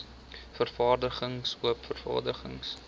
vergaderings oop vergaderings